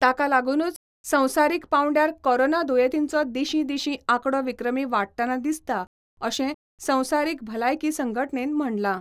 ताकालागूनूच संवसारीक पांवड्यार कोरोना दुयेंतींचो दिशीं दिशीं आकडो विक्रमी वाढटना दिसता, अशें संवसारीक भलायकी संघटनेन म्हणलां.